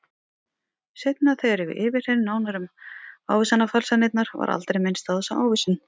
Seinna þegar ég var yfirheyrð nánar um ávísanafalsanirnar var aldrei minnst á þessa ávísun.